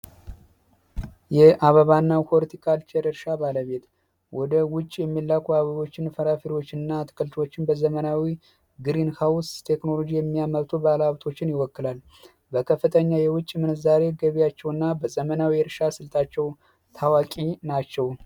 የአበባና ሆሊካልቸር ገበያ ወደ ውጭ የሚላኩ አበቦችን በዘመናዊ ግሪን ሀውንስ ቴክኖሎጂ የሚያመጡ ባለሀብቶችን ይወክላል ከፍተኛ የውጭ ምንዛሪ ገቢያቸው እና በዘመናዊ ታዋቂ ናቸው